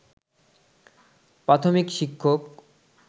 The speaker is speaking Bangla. প্রাথমিক শিক্ষক